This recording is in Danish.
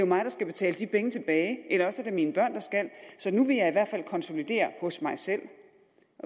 mig der skal betale de penge tilbage eller også skal min børn så nu vil jeg i hvert fald konsolidere hos mig selv